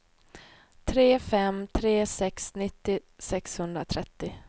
tre fem tre sex nittio sexhundratrettio